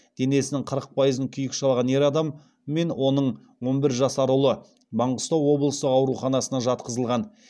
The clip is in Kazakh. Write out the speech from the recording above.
денесінің қырық пайызын күйік шалған ер адам мен оның он бір жасар ұлы маңғыстау облыстық ауруханасына жатқызылған